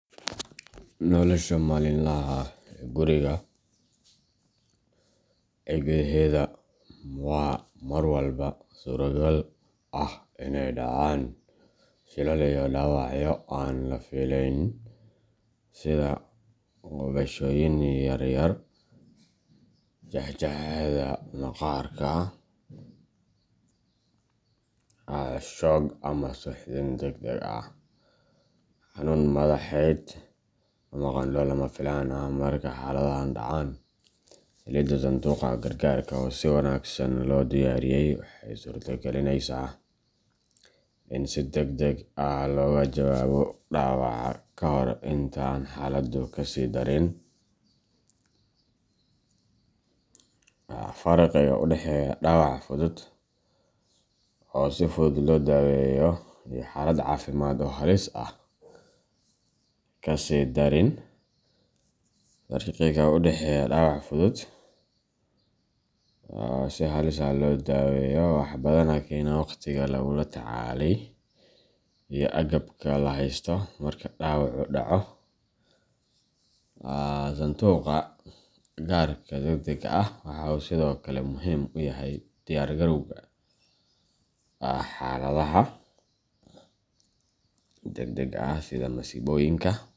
Nolosha maalinlaha ah ee guriga gudaheeda waxa mar walba suuragal ah in ay dhacaan shilal iyo dhaawacyo aan la filayn sida gubashooyin yaryar, jeex jeexyada maqaarka, shoog ama suuxdin degdeg ah, xanuun madaxeed, ama qandho lama filaan ah. Marka xaaladahan dhacaan, helidda sanduuqa gargaarka oo si wanaagsan loo diyaariyey waxay suuragelinaysaa in si degdeg ah looga jawaabo dhaawaca ka hor inta aan xaaladdu kasii darin. Farqiga u dhexeeya dhaawac fudud oo si fudud loo daweeyo iyo xaalad caafimaad oo halis ah waxaa badanaa keena wakhtiga lagula tacaalay iyo agabka la haysto marka dhaawacu dhaco. Sanduuqa gargaarka degdega ah waxa uu sidoo kale muhiim u yahay diyaar garowga xaaladaha degdega ah sida masiibooyinka.